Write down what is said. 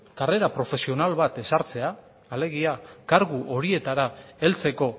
karrera profesional bat ezartzea alegia kargu horietara heltzeko